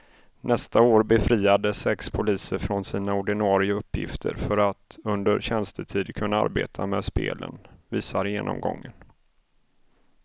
Nästa år befriades sex poliser från sina ordinarie uppgifter för att under tjänstetid kunna arbeta med spelen, visar genomgången.